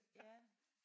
Ja